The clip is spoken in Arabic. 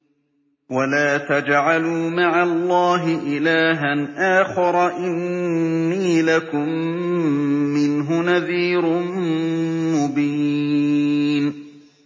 وَلَا تَجْعَلُوا مَعَ اللَّهِ إِلَٰهًا آخَرَ ۖ إِنِّي لَكُم مِّنْهُ نَذِيرٌ مُّبِينٌ